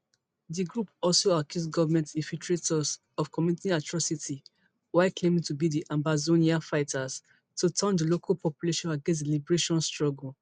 di group also accuse government infiltrators of committing atrocities while claiming to be ambazonian fighters to turn di local population against di liberation struggle